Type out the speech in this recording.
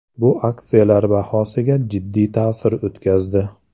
Bu aksiyalar bahosiga jiddiy ta’sir o‘tkazdi.